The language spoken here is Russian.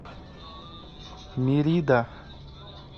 мерида